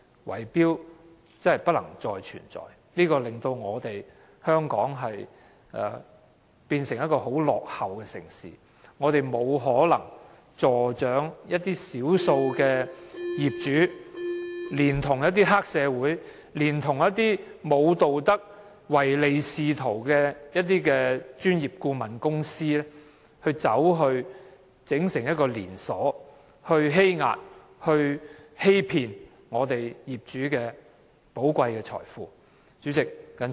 圍標真的不能再存在，這會令香港變成一個十分落後的城市，我們不可能助長少數業主聯同黑社會、一些沒有道德及唯利是圖的專業顧問公司，以連鎖組織的方式欺壓業主，欺騙業主寶貴的財富。